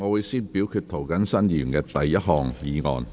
現在先表決涂謹申議員的第一項議案。